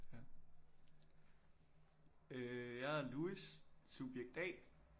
Ja øh jeg hedder Louis subjekt A